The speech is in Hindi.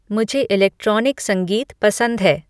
मुझे इलेक्ट्रॉनिक संगीत पसंद है